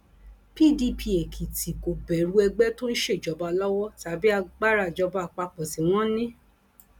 pdp èkìtì kò bẹrù ẹgbẹ tó ń ṣèjọba lọwọ tàbí agbára ìjọba àpapọ tí wọn ní